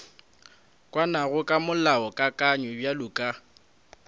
kwanago ka molaokakanywa bjalo ka